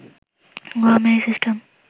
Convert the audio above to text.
গুয়ামে এই সিস্টেম